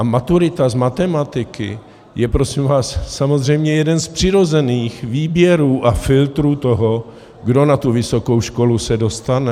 A maturita z matematiky je prosím vás samozřejmě jeden z přirozených výběrů a filtrů toho, kdo na tu vysokou školu se dostane.